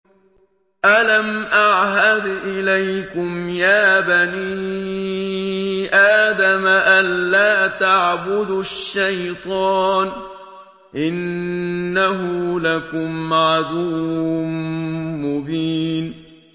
۞ أَلَمْ أَعْهَدْ إِلَيْكُمْ يَا بَنِي آدَمَ أَن لَّا تَعْبُدُوا الشَّيْطَانَ ۖ إِنَّهُ لَكُمْ عَدُوٌّ مُّبِينٌ